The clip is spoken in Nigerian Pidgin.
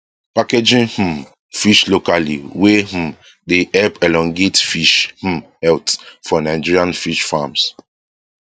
packaging um fish locally wey um dey help elongate fish um health for nigerian fish farms